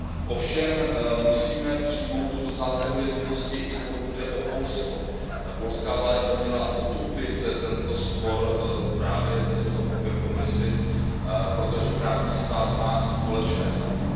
Ovšem musíme přijmout tuto zásadu jednotnosti, i pokud jde o Polsko. Polská vláda by měla otupit tento spor právě ve vztahu ke Komisi, protože právní stát má společné znaky.